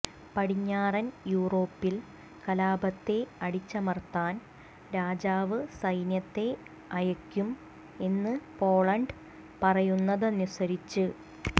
പടിഞ്ഞാറൻ യൂറോപ്പിൽ കലാപത്തെ അടിച്ചമർത്താൻ രാജാവ് സൈന്യത്തെ അയക്കും എന്ന് പോളണ്ട് പറയുന്നതനുസരിച്ച്